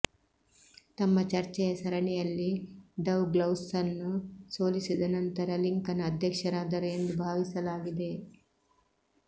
ತಮ್ಮ ಚರ್ಚೆಯ ಸರಣಿಯಲ್ಲಿ ಡೌಗ್ಲಾಸ್ನನ್ನು ಸೋಲಿಸಿದ ನಂತರ ಲಿಂಕನ್ ಅಧ್ಯಕ್ಷರಾದರು ಎಂದು ಭಾವಿಸಲಾಗಿದೆ